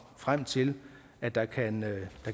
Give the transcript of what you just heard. frem til at der kan